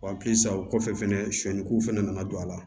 halisa o kɔfɛ fɛnɛ sɔni k'u fana nana don a la